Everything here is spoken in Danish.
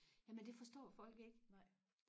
jamen det forstår folk ikke